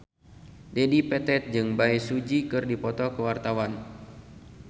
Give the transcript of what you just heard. Dedi Petet jeung Bae Su Ji keur dipoto ku wartawan